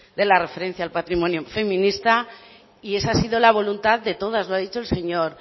de la referencia al patrimonio feminista y esa ha sido la voluntad de todas lo ha dicho el señor